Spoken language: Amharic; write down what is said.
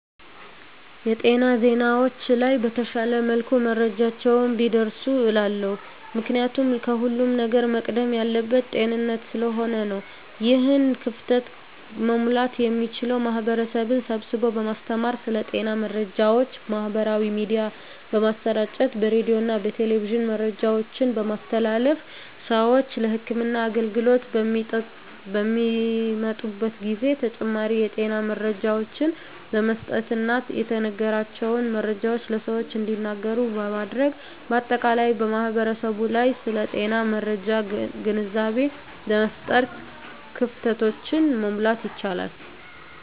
የጤና ዜናዎች ላይ በተሻለ መልኩ መረጃዎች ቢደርሱ እላለሁ። ምክንያቱም ከሁለም ነገር መቅደም ያለበት ጤንነት ስለሆነ ነው። ይህን ክፍተት መሙላት የሚቻለው ማህበረሰብን ስብስቦ በማስተማር ስለ ጤና መረጃዎች በማህበራዊ ሚዲያ በማሰራጨት በሬዲዮና በቴሌቪዥን መረጃዎችን በማስተላለፍ ስዎች ለህክምና አገልግሎት በሚመጡበት ጊዜ ተጨማሪ የጤና መረጃዎችን በመስጠትና የተነገራቸውን መረጃዎች ለሰዎች እንዲያጋሩ በማድረግ በአጠቃላይ በማህበረሰቡ ላይ ስለ ጤና መረጃ ግንዛቤ በመፍጠር ክፍተቶችን መሙላት ይቻላል።